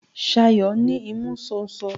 Ṣayọ̀ ní imú ṣóńṣó.